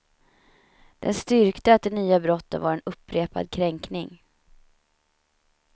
Den styrkte att de nya brotten var en upprepad kränkning.